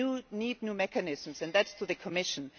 We need new mechanisms and that is up to the Commission.